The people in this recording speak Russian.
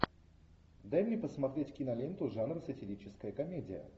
дай мне посмотреть киноленту жанр сатирическая комедия